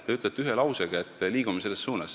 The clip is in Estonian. Te ütlete ühe lausega, et liigume selles suunas.